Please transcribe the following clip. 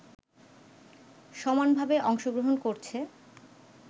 সমানভাবে অংশগ্রহণ করছে